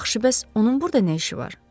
Yaxşı, bəs onun burda nə işi var?